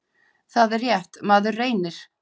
Það er rétt, maður reynir!